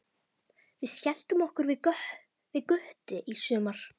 Við skelltum okkur við Gutti í sumar.